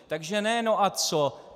Takže ne "no a co".